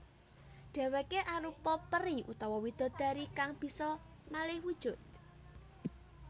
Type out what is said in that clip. Dhèwèké arupa peri utawa widodari kang bisa malih wujud